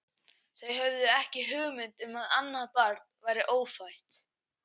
Þau höfðu ekki hugmynd um að annað barn væri ófætt.